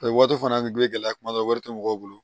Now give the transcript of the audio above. A ye waati fana gilan kuma dɔ wari tɛ mɔgɔw bolo